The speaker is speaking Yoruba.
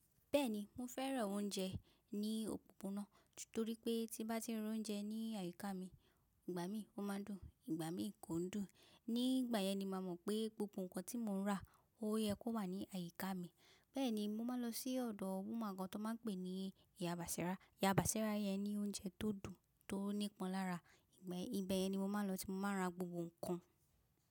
Bẹ́ẹ̀ni mo fẹ́ràn oúnjẹ ní òpópónà, torí pé tí bá ti ń ra oúnjẹ ní àyíká mi, ìgbà mí ó máa ń dùn, ìgbà mi kò ń dùn. Ní ìgbà yẹn ni màá mọ̀ pé gbogbo nǹkan tí mo ń rà ó yẹ kó wà ní àyíká mi. Bẹ́ẹ̀ni mo máa ń lọ sí ọ̀dọ̀ woman kan tán máa ń pè ní Ìyá Bàṣírá. Ìyá Bàṣírá yẹn ní oúnjẹ tó dùn, tó n'ípanlára. Ibẹ̀ yẹn ni mo máa ń lọ tí mo máa ń ra gbogbo nǹkan.